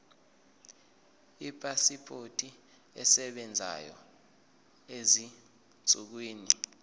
ipasipoti esebenzayo ezinsukwini